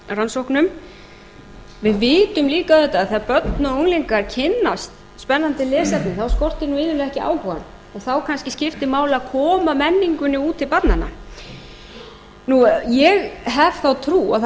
rannsóknum við vitum líka auðvitað að þegar börn og unglingar kynnast spennandi lesefni þá skortir nú iðulega ekki áhugann og þá kannski skiptir máli að koma menningunni út til barnanna ég hef þá trú að það